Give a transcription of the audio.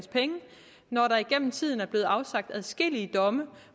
når der igennem tiden er blevet afsagt adskillige domme